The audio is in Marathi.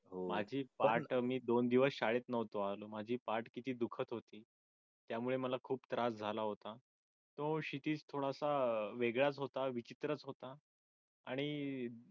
माझी पाठ आणि मी दोन दिवस शाळेत शाळेत नव्हतो आणि माझी पाठ किती दुखत होती. त्यामुळे मला खूप त्रास झाला होता. तो क्षितिज थोडासा वेगळाच विचित्रच होता आणि